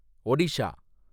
Odisha